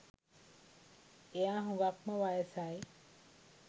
එයා හුඟක්ම වයසයි